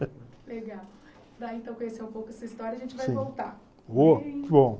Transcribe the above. Para então conhecer um pouco essa história, a gente vai voltar.